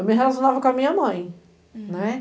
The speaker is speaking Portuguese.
Eu me relacionava com a minha mãe, né.